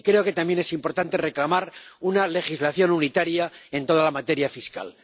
Y creo que también es importante reclamar una legislación unitaria en toda la materia fiscal.